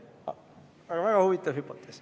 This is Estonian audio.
Aga väga huvitav hüpotees.